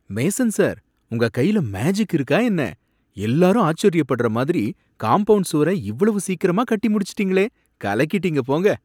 Mason sir, உங்க கையில magic இருக்கா என்ன! எல்லாரும் ஆச்சரியப்படுற மாதிரி காம்பவுண்ட் சுவர இவ்வளவு சீக்கிரமா கட்டி முடிச்சிட்டீங்களே! கலக்கிட்டீங்க போங்க!